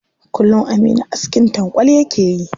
Kullum aminu askin tankwal yake yi.